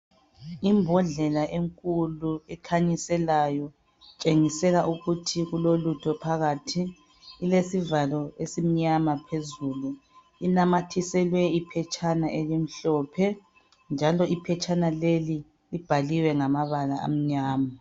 imbondlela enkulu ekhanyiselayo itshengisela ukuthi kulolutho phakathi ilesivalo esimnyama phezulu inamathiselwe iphetshana elimhlophe njalo iphetshana leli libhaliwe ngamabala amnyama